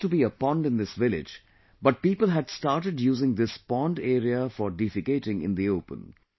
There used to be a pond in this village, but people had started using this pond area for defecating in the open